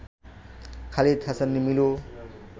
Khalid Hasan Milu